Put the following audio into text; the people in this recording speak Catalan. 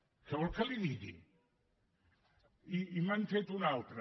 què vol que li digui i me n’han fet una altra